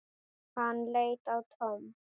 Hann leit á Tom.